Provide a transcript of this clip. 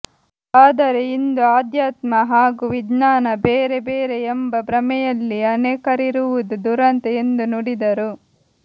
ಆದರೆ ಇಂದು ಆಧ್ಯಾತ್ಮ ಹಾಗೂ ವಿಜ್ಞಾನ ಬೇರೆ ಬೇರೆ ಎಂಬ ಭ್ರಮೆಯಲ್ಲಿ ಅನೇಕರಿರುವುದು ದುರಂತ ಎಂದು ನುಡಿದರು